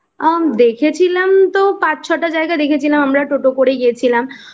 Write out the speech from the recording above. দেখেছিলাম তো পাঁচ ছয়টা টা জায়গা দেখেছিলাম আমরা টোটো করে গেছিলাম